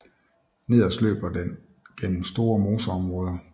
Nederst løber den gennem store moseområder